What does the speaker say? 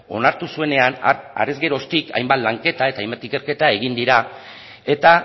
onartu zuenean harrez geroztik hainbat lanketa eta hainbat ikerketa egin dira eta